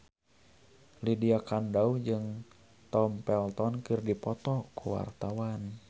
Lydia Kandou jeung Tom Felton keur dipoto ku wartawan